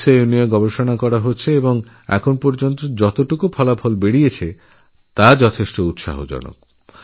এইমস্এও এই বিষয়ে অনেক কাজচলছে এবং এখন পর্যন্ত যে ফলাফল পাওয়া গেছে তা অত্যন্ত আশাব্যঞ্জক